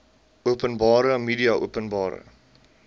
openbare media openbare